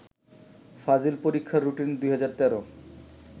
ফাজিল পরীক্ষার রুটিন ২০১৩